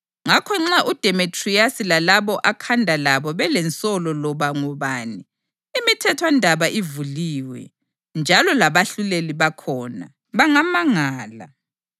Ngakho nxa uDemetriyasi lalabo akhanda labo belensolo loba ngobani, imithethwandaba ivuliwe, njalo labahluleli bakhona. Bangamangala.